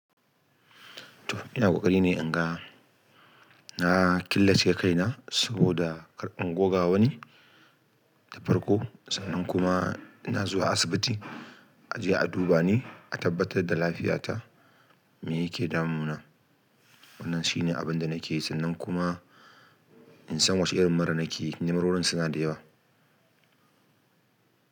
To ina ƙoƙari ne in ga na killace kaina saboda kar in goga wani da farko sannan kuma ina zuwa asibiti a je a duba ni, a tabbatar da lafiyata me yake damu na. Wannan shine abin da nake yi sannan kuma in san wace irin mura nake yi, mururin suna da yawa.